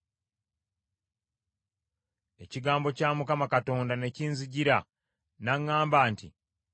Ekigambo kya Mukama Katonda ne kinzijira, n’aŋŋamba nti,